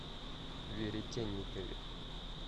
веретенникове